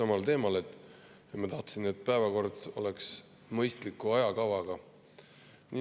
Tahtsin rääkida just samal teemal, et päevakord peaks olema mõistliku ajakavaga.